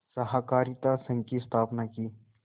सहाकारित संघ की स्थापना की